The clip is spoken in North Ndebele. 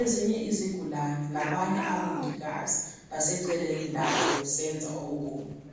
.Ezinye izigulane labanye abomongikazi baseceleni labo besenza okunye.